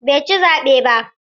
Bai ci zaɓe ba.